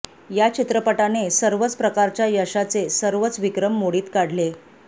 या चित्रपटाने सर्वच प्रकारच्या यशाचे सर्वच विक्रम मोडीत काढले